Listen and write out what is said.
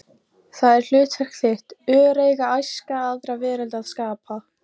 Það er hlutverk þitt, öreiga æska aðra veröld að skapa